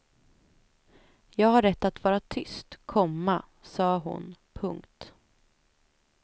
Jag har rätt att vara tyst, komma sa hon. punkt